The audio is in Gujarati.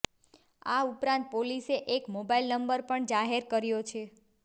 આ ઉપરાંત પોલીસે એક મોબાઈલ નંબર પણ જાહેર કર્યો છે